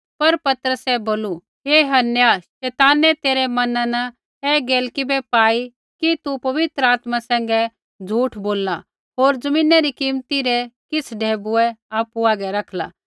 पर पतरसै बोलू हे हनन्याह शैतानै तेरै मैना न ऐ गैल किबै पाई कि तू पवित्र आत्मा सैंघै झ़ूठ बोलला होर ज़मीनै री कीमती रै किछ़ ढैबुऐ आपु हागै रखला